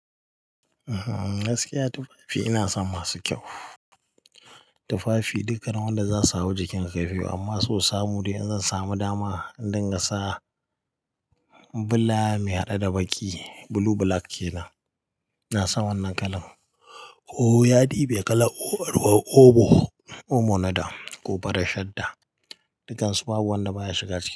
Ehh, gaskiya tufafi ina son masu kyau. Tufafi duka na wanda za su hau jikin zaifi amma so samu dai in zan samu dama in dinga sa bula mai haɗe da baƙi blue black ke nan. Ina son wannan kalan. Ooh ya ɗibe kalar omo, omo na da, ko faran shadda. Dukansu babu wanda baya shiga jiki.